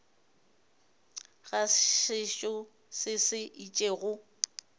ga setšo se se itšego